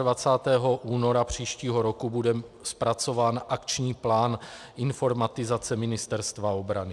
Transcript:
Do 28. února příštího roku bude zpracován akční plán informatizace Ministerstva obrany.